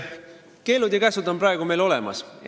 Keelud ja käsud on meil ka praegu olemas.